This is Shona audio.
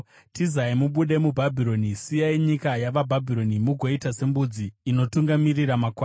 “Tizai mubude muBhabhironi; siyai nyika yavaBhabhironi, mugoita sembudzi inotungamirira makwai.